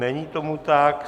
Není tomu tak.